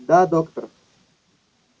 да доктор